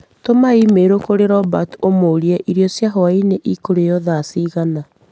Tũma i-mīrū kũrĩ Robert ũmũrie irio cia hwaĩ-in ĩkũrĩo thaa cigana.